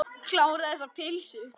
Kláraðu þessa pylsu.